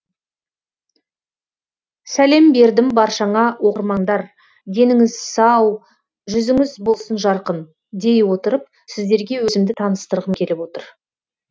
сәлем бердім баршаңа оқырмандар деніңіз сау жүзіңіз болсын жарқын дей отырып сіздерге өзімді таныстырғым келіп отыр